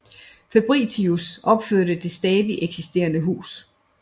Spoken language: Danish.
Fabritius opførte det stadig eksisterende hus